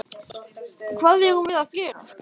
Hvað erum við gera?